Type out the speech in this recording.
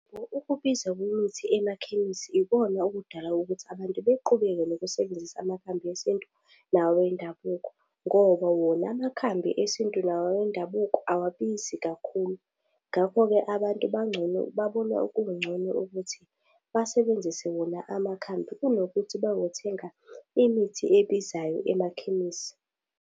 Ukubiza kwemithi emakhemisi ikona okudala ukuthi abantu beqhubeke nokusebenzisa amakhambi esintu la wendabuko ngoba wona amakhambi esintu la wendabuko awabizi kakhulu. Ngakho-ke abantu bangcono babona kungcono ukuthi basebenzise wona amakhambi kunokuthi bazothenga imithi ebizayo emakhemisi.